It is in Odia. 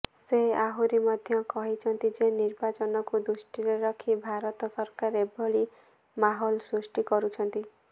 ସେ ଆହୁରି ମଧ୍ୟ କହିଛନ୍ତି ଯେ ନିର୍ବାଚନକୁ ଦୃଷ୍ଟିରେ ରଖି ଭାରତ ସରକାର ଏଭଳି ମାହୋଲ ସୃଷ୍ଟି କରୁଛନ୍ତି